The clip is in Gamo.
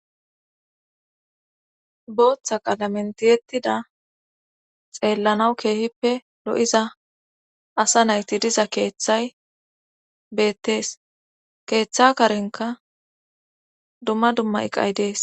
booththa qalamen tiyettida xeellanaw keehippe lo7iza asa nayti diza keeththay beettees keeththa karenka dumma dumma iqay dees